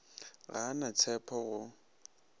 ga a na tshepo go